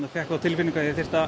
fékk þá tilfinningu að ég þyrfti að